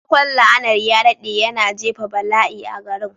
Sakamakon la'anar ya daɗe, yana jefa bala'i a garin.